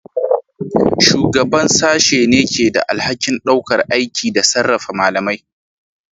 Shugaban Sashen ne ke da alhakin ɗaukar aiki da sarrafa malamai.